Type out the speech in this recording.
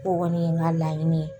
O kɔni ye ŋa laɲini ye.